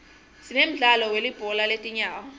sinemdlalo welibhola letinyawo